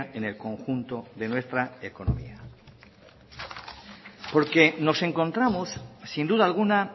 en el conjunto de nuestra economía porque nos encontramos sin duda alguna